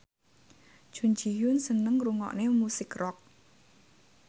Jun Ji Hyun seneng ngrungokne musik rock